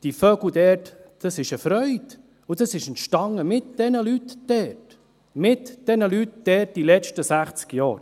Die Vögel dort sind eine Freude, und das entstand mit diesen Leuten dort, mit diesen Leuten dort, in den letzten 60 Jahren.